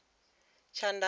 tshandama